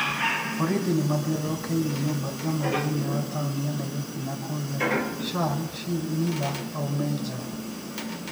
Borithi nĩ maathiũrũrũkĩirie nyũmba ĩmwe thĩinĩ wa tauni ya Nairobi na kuuria Shaun "Shizz" Miller aume nja.